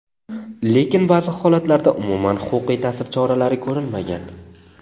Lekin ba’zi holatlarda umuman huquqiy ta’sir choralari ko‘rilmagan.